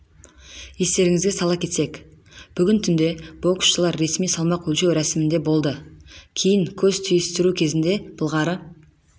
естеріңізге сала кетсек бүгін түнде боксшылар ресми салмақ өлшеу рәсімінде болды кейін көз түйістіру кезінде былғары